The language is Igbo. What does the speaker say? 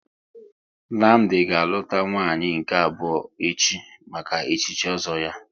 Nnamdi ga aluta nwanyị nke abụọ echi maka echichi ozo ya